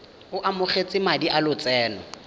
o amogetse madi a lotseno